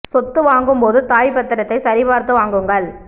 சொத்து வாங்கும் போது தாய் பத்திரத்தை சரி பார்த்து வாங்குங்கள்